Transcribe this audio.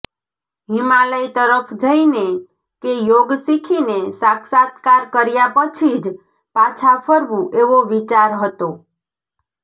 હિમાલય તરફ જઈને કે યોગ શીખીને સાક્ષાત્કાર કર્યા પછી જ પાછા ફરવું એવો વિચાર હતો